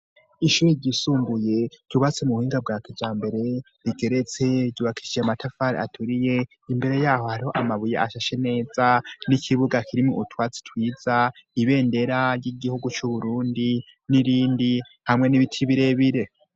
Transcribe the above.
Ishuri ryisumbuye ryubatse mu buhinga bwa kijambere rigeretse ryubakishije amatafari aturiye imbere yaho hariho amabuye ashashe neza n'ikibuga kirimwo utwatsi twiza ibendera ry'igihugu c'Uburundi n'irindi hamwe n'ibiti birebire.